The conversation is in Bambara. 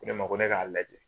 Ne ma ko ne k'a lajɛ.